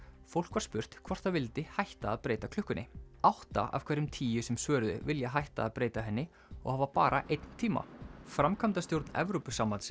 fólk var spurt hvort það vildi hætta að breyta klukkunni átta af hverjum tíu sem svöruðu vilja hætta að breyta henni og hafa bara einn tíma framkvæmdastjórn Evrópusambandsins